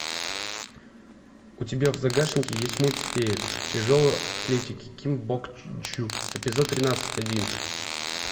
у тебя в загашнике есть мульт фея тяжелой атлетики ким бок чжу эпизод тринадцать один